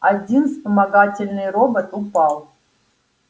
один вспомогательный робот упал